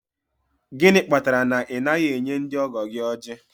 Gịnị kpatara na ị naghị enye ndị ọgọ gị ojí?.